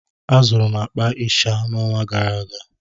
Azụrụ m akpa ịsha n'ọnwa gara aga